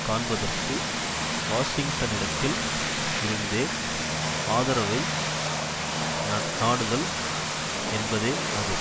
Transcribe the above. காண்பதற்கு வாஷிங்டனிடத்தில் இருந்தே ஆதரவை நநாடுதல் என்பதே அது